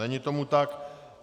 Není tomu tak.